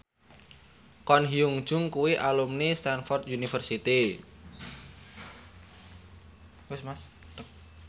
Ko Hyun Jung kuwi alumni Stamford University